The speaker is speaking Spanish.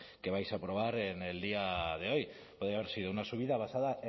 que vais a aprobar en el día de hoy podía haber sido una subida basada